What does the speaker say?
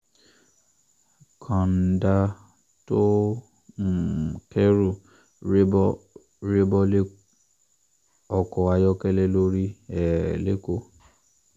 kọ́ńdà tó um kẹ́rù ré bọ́ ré bọ́ lé ọkọ̀ ayọ́kẹ́lẹ́ lórí um lẹ́kọ̀ọ́